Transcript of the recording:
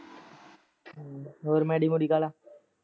ਹੋਰ ਐਡੀ ਮੁਡੀ ਗਾਲਾ?